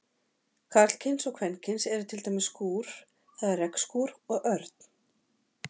Karlkyns og kvenkyns eru til dæmis skúr, það er regnskúr, og örn.